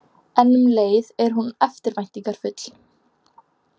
En um leið er hún eftirvæntingafull.